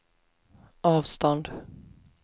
avstånd